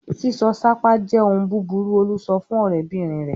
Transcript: "Sísọ sápá jẹ́ ohun búburú!" Olú sọ fún ọ̀rẹ́bìnrin rẹ̀!